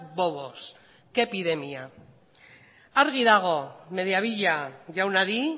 bobos qué epidemia argi dago mediavilla jaunari